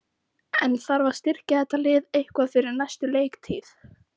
En þarf að styrkja þetta lið eitthvað fyrir næstu leiktíð?